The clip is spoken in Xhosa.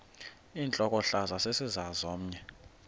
intlokohlaza sesisaz omny